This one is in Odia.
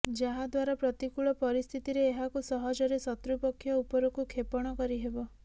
ଯାହାଦ୍ୱାରା ପ୍ରତିକୂଳ ପରିସ୍ଥିତିରେ ଏହାକୁ ସହଜରେ ଶତ୍ରୁପକ୍ଷ ଉପରକୁ କ୍ଷେପଣ କରିହେବ